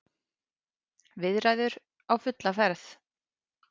Viðræður á fulla ferð